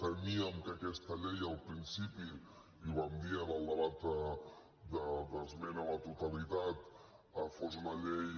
temíem que aquesta llei al principi i ho vam dir en el debat d’esmena a la totalitat fos una llei